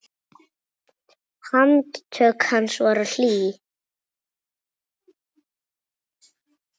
Handtök hans voru hlý.